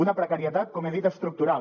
una precarietat com he dit estructural